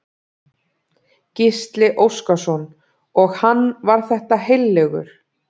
Gísli Óskarsson: Og hann var þetta heillegur?